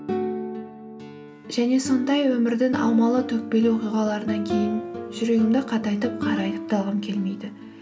және сондай өмірдің аумалы төкпелі оқиғаларынан кейін жүрегімді қатайтып қарайтып та алғым келмейді